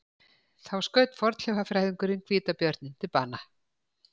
Þá skaut fornleifafræðingurinn hvítabjörninn til bana